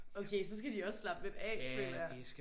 Okay så skal de også slappe lidt af føler jeg